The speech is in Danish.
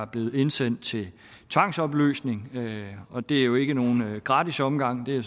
blevet indsendt til tvangsopløsning og det er jo ikke nogen gratis omgang det er